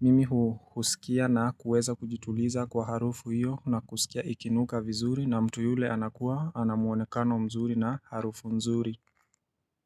Mimi hu husikia na kuweza kujituliza kwa harufu iyo na kusikia ikinuka vizuri na mtu yule anakuwa anamwonekano mzuri na harufu mzuri.